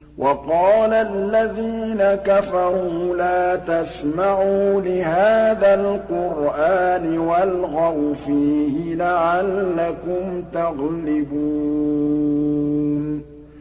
وَقَالَ الَّذِينَ كَفَرُوا لَا تَسْمَعُوا لِهَٰذَا الْقُرْآنِ وَالْغَوْا فِيهِ لَعَلَّكُمْ تَغْلِبُونَ